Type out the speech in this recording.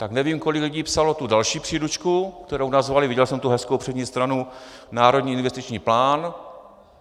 Tak nevím, kolik lidí psalo tu další příručku, kterou nazvali - viděl jsem tu hezkou přední stranu - Národní investiční plán.